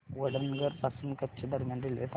वडनगर पासून कच्छ दरम्यान रेल्वे सांगा